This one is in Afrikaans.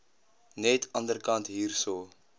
net anderkant hierso